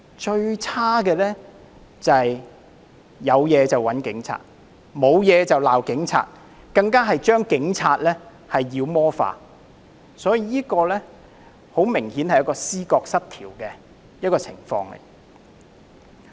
最差的是"有事就找警察，沒事就罵警察"，更將警察妖魔化，所以，這明顯是一種思覺失調的情況。